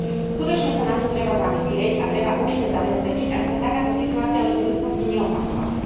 Skutočne sa nad tým treba zamyslieť a treba účinne zabezpečiť, aby sa takáto situácia už v budúcnosti neopakovala.